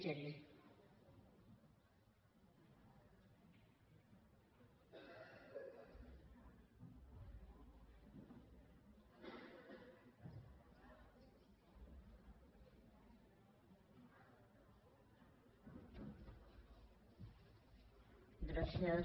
gràcies